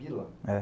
Bila? É.